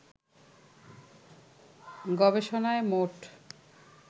গবেষণায় মোট